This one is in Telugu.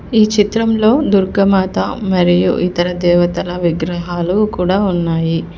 ఈ చిత్రంలో దుర్గ మాత మరియు ఇతర దేవతల విగ్రహాలు కూడా ఉన్నాయి.